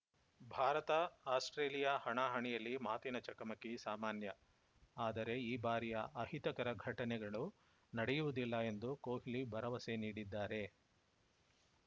ಭಾರತಆಸ್ಪ್ರೇಲಿಯಾ ಹಣಾಹಣಿಯಲ್ಲಿ ಮಾತಿನ ಚಕಮಕಿ ಸಾಮಾನ್ಯ ಆದರೆ ಈ ಬಾರಿಯ ಅಹಿತಕರ ಘಟನೆಗಳು ನಡೆಯುವುದಿಲ್ಲ ಎಂದು ಕೊಹ್ಲಿ ಭರವಸೆ ನೀಡಿದ್ದಾರೆ